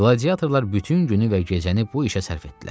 Qladiyatorlar bütün günü və gecəni bu işə sərf etdilər.